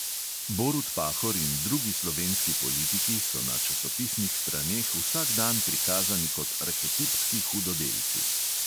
Borut pahor in drugi slovenski politiki so na časopisnih straneh vsak dan prikazani kot arhetipski hudodelci.